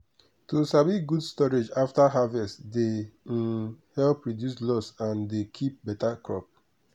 to sabi good storage after harvest dey um help reduce loss and dey keep beta crop.